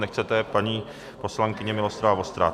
Nechcete, paní poslankyně, Miloslava Vostrá.